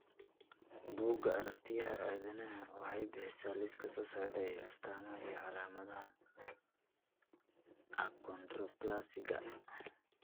Bugga Aragtiyaha Aadanaha waxay bixisaa liiska soo socda ee astaamaha iyo calaamadaha Achondroplasiga.